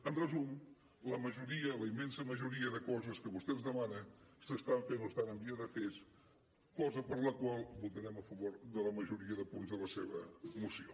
en resum la majoria la immensa majoria de coses que vostè ens demana s’estan fent o estan en vies de fer se cosa per la qual votarem a favor de la majoria de punts de la seva moció